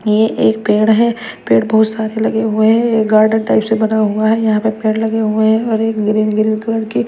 ये एक पेड़ है पेड़ बहुत सारे लगे हुए हैं ये गार्डन टाइप से बना हुआ है यहां पे पेड़ लगे हुए हैं और एक ग्रीन ग्रीन कलर की--